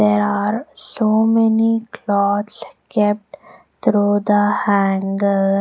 There are so many clothes kept through the hangers.